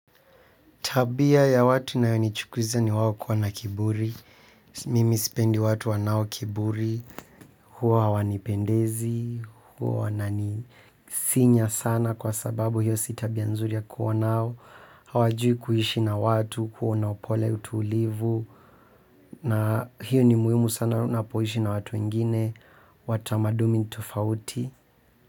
Tabia ya watu inayonichukiza ni wao kuwa na kiburi, mimi sipendi watu wanao kiburi, huwa hawanipendezi, huwa wananisinya sana kwa sababu hiyo si tabia nzuri ya kuwa nao, hawajui kuishi na watu, kuwa na upole utulivu, na hiyo ni muimu sana na unapoishi na watu wengine, wa tumaduni tofauti.